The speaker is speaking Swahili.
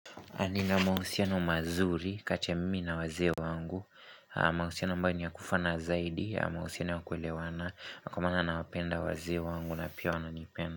Nina mahusiano mazuri kati ya mimi na wazee wangu mahusiano ambayo ni ya kufana zaidi mahusiano ya kuelewana kwa maana nawapenda wazee wangu na pia wananipenda.